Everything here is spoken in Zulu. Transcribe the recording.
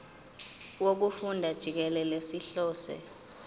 wokufunda jikelele sihlose